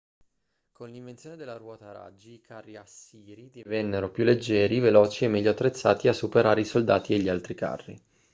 con l'invenzione della ruota a raggi i carri assiri divennero più leggeri veloci e meglio attrezzati a superare i soldati e gli altri carri